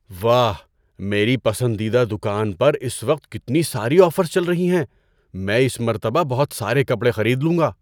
واہ! میری پسندیدہ دکان پر اس وقت کتنی ساری آفرز چل رہی ہیں۔ میں اس مرتبہ بہت سارے کپڑے خرید لوں گا۔